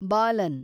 Balan